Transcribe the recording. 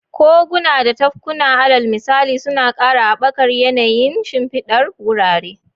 Koguna da tafkuna, alal misali, suna ƙara haɓakar yanayin shimfidar wurare.